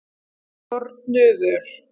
Fornuvör